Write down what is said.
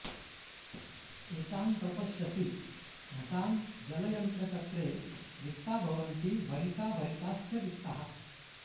एतान् प्रपश्यसि घटां जलयन्त्रचक्रे रिक्ता भवन्ति भरिता भरिताश्च रिक्ताः